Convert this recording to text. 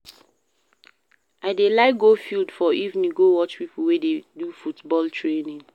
I dey like go field for evening go watch pipo wey dey do football training.